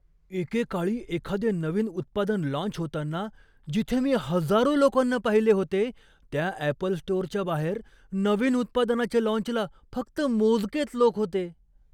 एकेकाळी एखादे नवीन उत्पादन लाँच होताना जिथे मी हजारो लोकांना पाहिले होते, त्या ॲपल स्टोरच्या बाहेर नवीन उत्पादनाच्या लाँचला फक्त मोजकेच लोक होते!